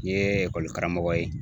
N ye karamɔgɔ ye